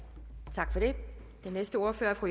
tak for det den næste ordfører er fru